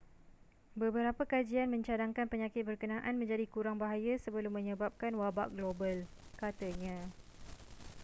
beberap kajian mencadangkan penyakit berkenaan menjadi kurang bahaya sebelum menyebabkan wabak global katanya